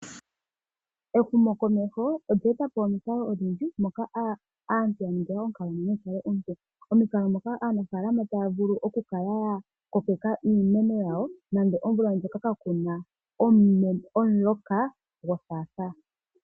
Ehumokomeho olye eta po omikalo odhindji moka aantu ya ningilwa onkalamwenyo yikale ompu. Omikalo moka aanafalama taya vulu okukala yakokeka iimeno yawo nenge omvula ndjoka kakuna omuloka gothaathaa.